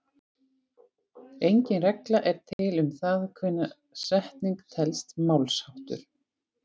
Engin regla er til um það hvenær setning telst málsháttur.